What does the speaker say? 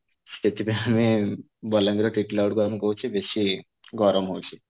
ସେଥିପାଇଁ ଆମେ ବଲାଙ୍ଗିର ର ଟିଟିଲାଗଡ କୁ ଆମେ କହୁଚେ ବେଶି ଗରମ ହୋଉଛି